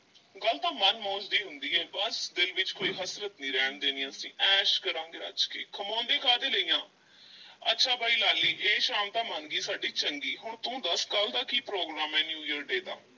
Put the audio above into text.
ਗੱਲ ਤਾਂ ਮਨ ਮੌਜ ਦੀ ਹੁੰਦੀ ਏ, ਬੱਸ ਦਿਲ ਵਿੱਚ ਕੋਈ ਹਸਰਤ ਨਹੀਂ ਰਹਿਣ ਦੇਣੀ ਅਸੀਂ, ਐਸ਼ ਕਰਾਂਗੇ ਰੱਜ ਕੇ ਕਮਾਉਂਦੇ ਕਾਹਦੇ ਲਈ ਆਂ, ਅੱਛਾ ਬਈ ਲਾਲੀ ਇਹ ਸ਼ਾਮ ਤਾਂ ਮੰਨ ਗਈ ਸਾਡੀ ਚੰਗੀ ਹੁਣ ਤੂੰ ਦੱਸ ਕੱਲ੍ਹ ਦਾ ਕੀ program ਏ new year day ਦਾ।